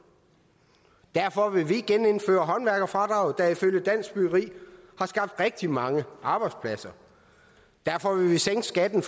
derfor vil vi genindføre håndværkerfradraget der ifølge dansk byggeri har skabt rigtig mange arbejdspladser derfor vil vi sænke skatten